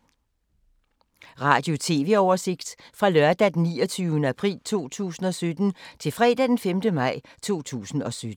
Radio/TV oversigt fra lørdag d. 29. april 2017 til fredag d. 5. maj 2017